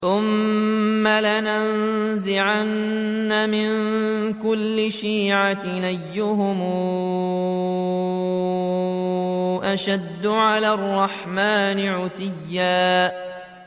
ثُمَّ لَنَنزِعَنَّ مِن كُلِّ شِيعَةٍ أَيُّهُمْ أَشَدُّ عَلَى الرَّحْمَٰنِ عِتِيًّا